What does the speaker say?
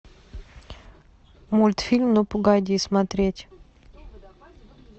мультфильм ну погоди смотреть